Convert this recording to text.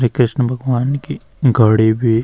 श्री कृष्ण भगवान की घडी भी।